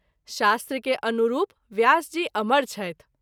शास्त्र के अनुरूप व्यास जी अमर छथि।